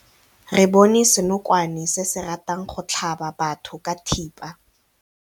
Re bone senokwane se se ratang go tlhaba batho ka thipa.